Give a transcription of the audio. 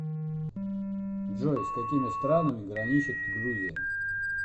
джой с какими странами граничит грузия